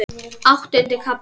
Áttundi kafli